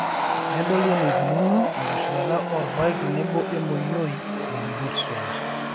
nedoli eneikununo enkitushulata a oorpaek tenebo emoioi te Botswana.